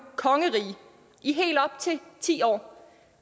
kongerige i helt op til ti år